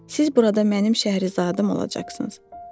Siz burada mənim şəhrizadım olacaqsınız.